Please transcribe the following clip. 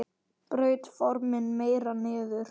Braut formin meira niður.